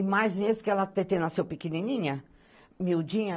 E mais meses porque a Tetê nasceu pequenininha, miudinha.